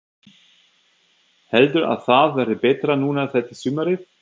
Heldur að það verði betra núna þetta sumarið?